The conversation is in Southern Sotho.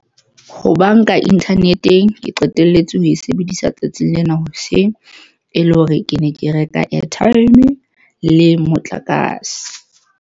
Ho banka internet-eng ke qetelletse ho e sebedisa tsatsing lena hoseng e le hore ke ne ke reka airtime le motlakase.